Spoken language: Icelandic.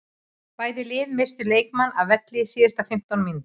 Bæði lið misstu leikmann af velli á síðustu fimmtán mínútunum.